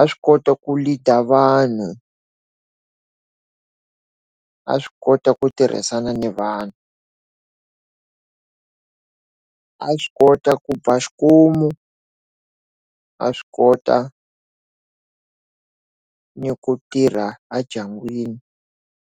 a swi kota ku leader vanhu a swi kota ku tirhisana ni vanhu a swi kota ku a swi kota ni ku tirha a ndyangwini.